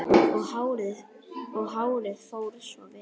Og hárið fór svo vel!